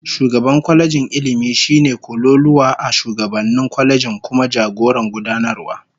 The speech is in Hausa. Shugaban kwalejin Ilmi shine kololuwa a shugabannin kwalejin, kuma jagoran gudanarwa